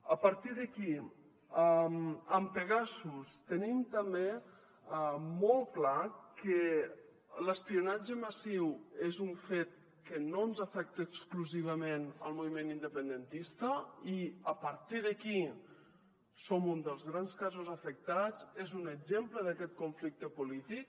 a partir d’aquí amb pegasus tenim també molt clar que l’espionatge massiu és un fet que no ens afecta exclusivament al moviment independentista i a partir d’aquí som un dels grans casos afectats és un exemple d’aquest conflicte polític